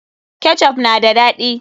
Ketchup na da daɗi.